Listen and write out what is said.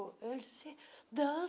Ele disse, danço.